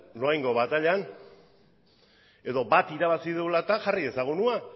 noaingo batailan edo bat irabazi dugula eta jarri dezagun hura